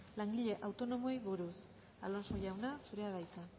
langile autonomoei buruz alonso jauna zurea da hitza